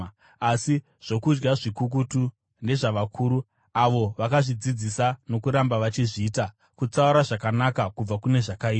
Asi zvokudya zvikukutu ndezvavakuru, avo vakazvidzidzisa nokuramba vachizviita, kutsaura zvakanaka kubva kune zvakaipa.